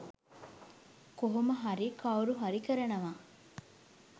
කොහොම හරි කවුරු හරි කරනවා.